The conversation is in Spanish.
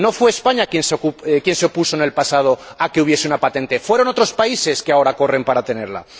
No fue España quien se opuso en el pasado a que hubiese una patente, fueron otros países, que ahora corren para tenerla.